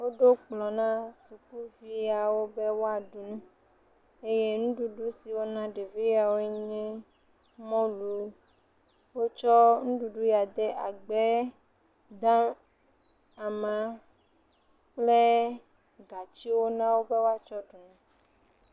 Woɖo kplɔ̃ na sukuviawo be woaɖu nu eye nuɖuɖu siwo wona ɖevi siawoe nye mɔlu. Wotsɔ nuɖuɖua yawo de agbɛɛ gã, e maa kple gatsiwo na wo be woatsɔ ɖu nu.